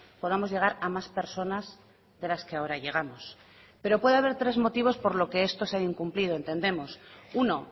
podamos llegar a más personas de las que ahora llegamos pero puede haber tres motivos por lo que esto se ha incumplido entendemos uno